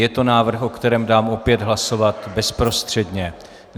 Je to návrh, o kterém dám opět hlasovat bezprostředně.